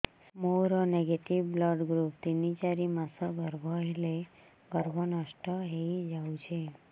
ମୋର negative blood group ତିନ ଚାରି ମାସ ଗର୍ଭ ହେଲେ ଗର୍ଭ ନଷ୍ଟ ହେଇଯାଉଛି